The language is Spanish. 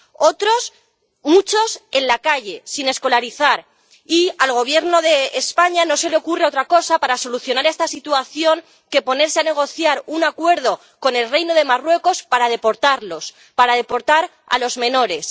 otros, muchos, en la calle, sin escolarizar— y al Gobierno de España no se le ocurre otra cosa para solucionar esta situación que ponerse a negociar un acuerdo con el Reino de Marruecos para deportarlos, para deportar a los menores.